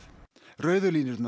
rauðu línurnar